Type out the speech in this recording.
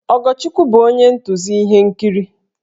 Ogochukwu bụ onye ntụzi ihe nkiri